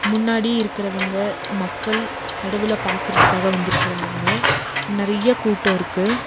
முன்னாடி இருக்கறவங்க மக்கள் கடவுள பாக்கறதுக்காக வந்துருக்கறாங்க நறிய கூட்டோ இருக்கு.